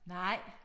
Nej